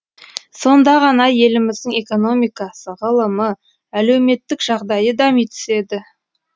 сонда ғана еліміздің экономикасы ғылымы әлеуметтік жағдайы дами түседі